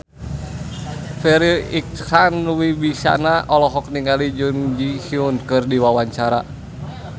Farri Icksan Wibisana olohok ningali Jun Ji Hyun keur diwawancara